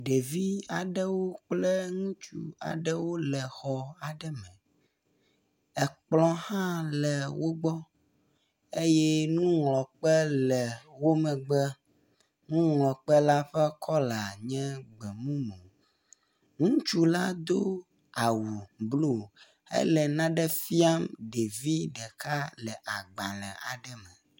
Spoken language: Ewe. Ɖevi aɖewo kple ŋutsu aɖewo wole xɔ aɖe me. Kplɔ̃ hã le wo gbɔ eye nuŋlɔkpe le wo megbe. Nuŋlɔkpe la ƒe kɔla nye gbemumu. Ŋutsu la do awu blu hele nane fiam ɖevi ɖeka le agbalẽ aɖe me.